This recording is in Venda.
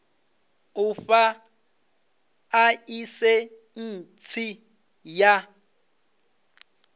u fha ḽaisentsi u ya